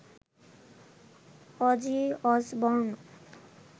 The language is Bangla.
Aussie Osborne